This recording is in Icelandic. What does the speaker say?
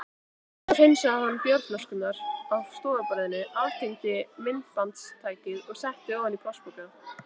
Svo hreinsaði hann bjórflöskurnar af stofuborðinu, aftengdi myndbandstækið og setti ofan í plastpoka.